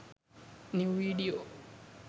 new video